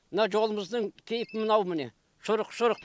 мынау жолымыздың кейпі мынау міне шұрық шұрық